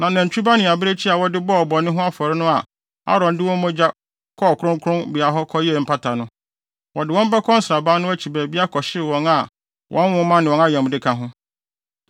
Na nantwi ba ne abirekyi a wɔde bɔɔ bɔne ho afɔre no a Aaron de wɔn mogya kɔɔ kronkronbea hɔ kɔyɛɛ mpata no, wɔde wɔn bɛkɔ nsraban no akyi baabi akɔhyew a wɔn ho nwoma ne wɔn ayamde ka ho.